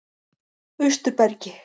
Austurbergi